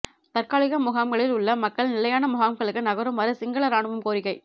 தற்காலிக முகாம்களில் உள்ள மக்கள் நிலையான முகாம்களுக்கு நகருமாறு சிங்கள இராணுவம் கோரிக்கை